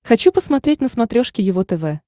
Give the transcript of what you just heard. хочу посмотреть на смотрешке его тв